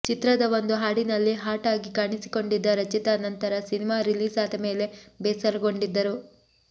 ಚಿತ್ರದ ಒಂದು ಹಾಡಿನಲ್ಲಿ ಹಾಟ್ ಆಗಿ ಕಾಣಿಸಿಕೊಂಡಿದ್ದ ರಚಿತಾ ನಂತರ ಸಿನಿಮಾ ರಿಲೀಸ್ ಆದ ಮೇಲೆ ಬೇಸರಗೊಂಡಿದ್ದರು